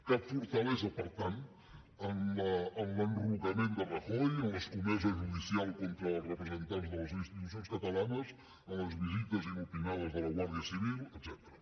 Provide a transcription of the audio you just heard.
cap fortalesa per tant en l’enrocament de rajoy o en l’escomesa judicial contra els representants de les institucions catalanes en les visites inopinades de la guàrdia civil etcètera